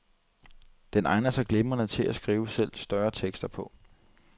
Den egner sig glimrende til at skrive selv større tekster på.